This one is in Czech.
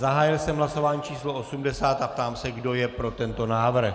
Zahájil jsem hlasování číslo 80 a ptám se, kdo je pro tento návrh.